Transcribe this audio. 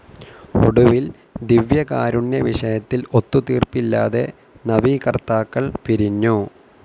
ഒടുവിൽ, ദിവ്യകാരുണ്യവിഷയത്തിൽ ഒത്തുതീർപ്പില്ലാതെ നവീകർത്താക്കൾ പിരിഞ്ഞു.